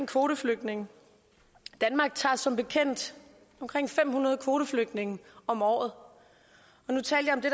kvoteflygtninge danmark tager som bekendt omkring fem hundrede kvoteflygtninge om året